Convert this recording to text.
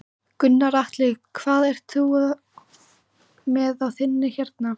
Gunnar Atli: Hvað ert þú með á þinni hérna?